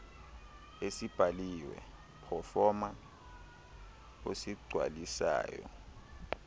esibhaliwe proforma osigcwalisayo